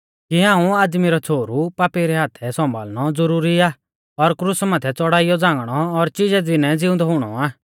कि हाऊं आदमी रौ छ़ोहरु पापी रै हाथै सौंभाल़नौ ज़रूरी आ और क्रुसा माथै च़ौड़ाइयौ झ़ांगणौ और चिजै दीनै ज़िउंदौ हुणौ आ